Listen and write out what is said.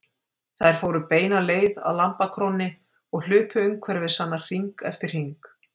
Þær fóru beina leið að lambakrónni og hlupu umhverfis hana hring eftir hring.